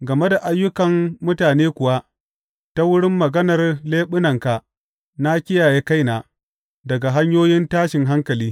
Game da ayyukan mutane kuwa, ta wurin maganar leɓunanka na kiyaye kaina daga hanyoyin tashin hankali.